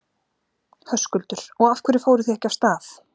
Höskuldur: Og af hverju fóruð þið ekki af stað?